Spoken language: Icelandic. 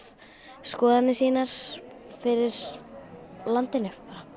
skoðanir sínar fyrir landinu